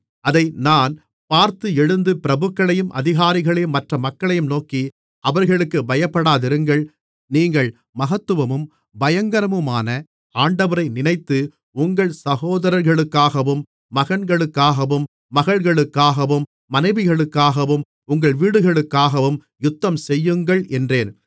அதை நான் பார்த்து எழுந்து பிரபுக்களையும் அதிகாரிகளையும் மற்ற மக்களையும் நோக்கி அவர்களுக்குப் பயப்படாதிருங்கள் நீங்கள் மகத்துவமும் பயங்கரமுமான ஆண்டவரை நினைத்து உங்கள் சகோதரர்களுக்காகவும் மகன்களுக்காகவும் மகள்களுக்காகவும் மனைவிகளுக்காகவும் உங்கள் வீடுகளுக்காகவும் யுத்தம்செய்யுங்கள் என்றேன்